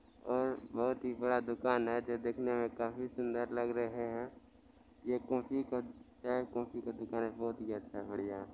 ओर बोहत ही बड़ा दुकान हैं जो देखने मे काफी सुंदर लग रहे है ये कॉफी का चाय कॉफी का दुकान है बहोत ही अच्छा बढ़िया है।